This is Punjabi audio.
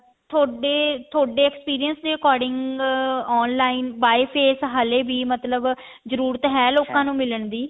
ਥੋਡੇ ਥੋਡੇ experience ਦੇ according online by face ਹਲੇ ਵੀ ਮਤਲਬ ਜਰੂਰਤ ਹੈ ਲੋਕਾਂ ਨੂੰ ਮਿਲਣ ਦੀ